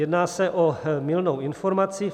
Jedná se o mylnou informaci.